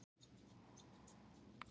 Fagna tilmælum Samtaka fjármálafyrirtækja